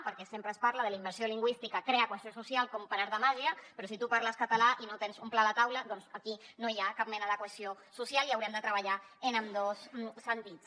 perquè sempre es parla que la immersió lingüística crea cohesió social com per art de màgia però si tu parles català i no tens un plat a taula doncs aquí no hi ha cap mena de cohesió social i haurem de treballar en ambdós sentits